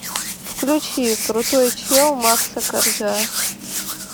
включи крутой чел макса коржа